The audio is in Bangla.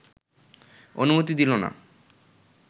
অনুমতি দিল না